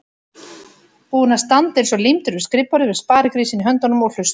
Búinn að standa eins og límdur við skrifborðið með sparigrísinn í höndunum og hlusta.